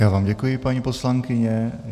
Já vám děkuji, paní poslankyně.